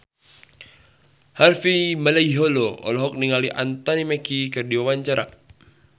Harvey Malaiholo olohok ningali Anthony Mackie keur diwawancara